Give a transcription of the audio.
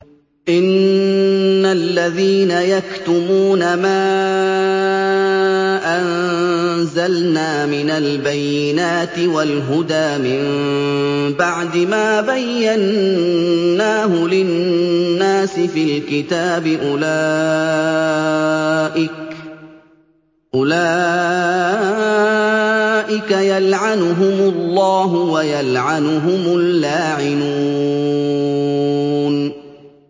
إِنَّ الَّذِينَ يَكْتُمُونَ مَا أَنزَلْنَا مِنَ الْبَيِّنَاتِ وَالْهُدَىٰ مِن بَعْدِ مَا بَيَّنَّاهُ لِلنَّاسِ فِي الْكِتَابِ ۙ أُولَٰئِكَ يَلْعَنُهُمُ اللَّهُ وَيَلْعَنُهُمُ اللَّاعِنُونَ